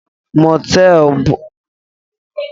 Motelú bụ ebe ana eri oriri na-ebe ndị njem na-arahu.